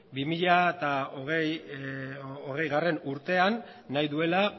bi mila hogeigarrena urtean nahi duela